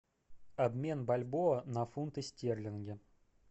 обмен бальбоа на фунты стерлинги